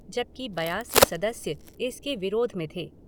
जबकि बयासी सदस्य इसके विरोध मे थे।